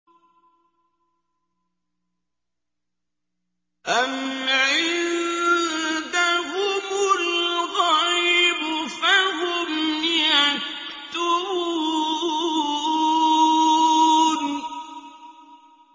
أَمْ عِندَهُمُ الْغَيْبُ فَهُمْ يَكْتُبُونَ